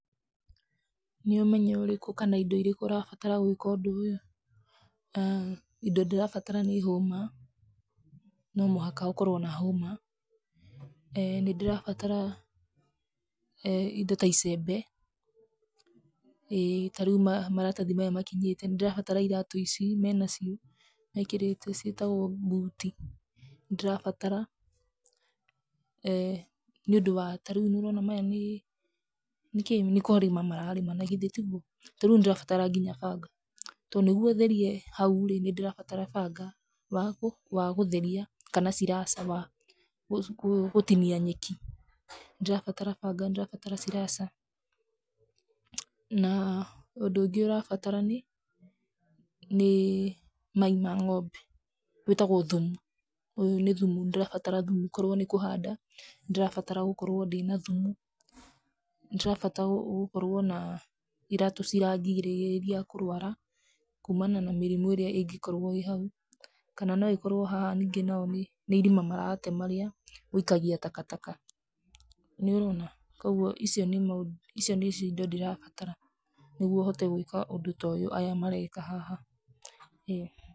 Nĩ ũmenyo ũrĩku kana indo irĩkũ ũrabatara gwĩka ũndũ ũyũ? Indo ndĩrabatara nĩ hũma, no mũhaka ũkorwo na hũma. Nĩ ndĩrabatara indo ta icembe, ta rĩu maratathi maya makinyĩte. Nĩ ndĩrabatara iratũ ici me nacio mekĩrĩte ciĩtagwo mbuti. Nĩ ndĩrabatara, nĩ ũndũ wa ta rĩũ nĩ ũrona aya nĩ kĩĩ? Nĩ kũrĩma mararĩma na githĩ tiguo? Ta rĩu nĩ ndĩrabatara nginya banga to nĩguo ũtherie nginya hau rĩ, nĩ ũrabatara banga wa gũtheria kana ciraca wa gũtinia nyeki. Nĩ ndĩrabatara banga, nĩ ndĩrabatara ciraca na ũndũ ũngĩ ũrabatara nĩ mai ma ng'ombe, wĩtagũo thumu. Uyũ nĩ thumu, nĩ ndĩrabatara thumu, okorwo nĩ kũhanda nĩ ndĩrabatara gũkorwo ndĩna thumu, nĩ ndĩrabatara gũkorwo na iratũ cirandigĩrĩria kũrũara kumana na mĩrimũ irĩa ĩngĩkorwo ĩ hau, kana no ĩkorwo haha nyingĩ nĩ irima maratema rĩa gwĩikagia takataka. Nĩ ũrona, kogwo ici nĩcio indo iria ndĩrabatara nĩguo hote gwĩka ũndũ ta ũyũ aya mareka haha.